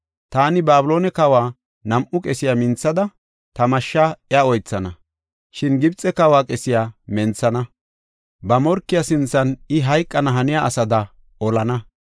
Taani Babiloone kawa nam7u qesiya minthada, ta mashsha iya oythana. Shin Gibxe kawa qesiya menthana; ba morkiya sinthan I hayqana haniya asada oolana.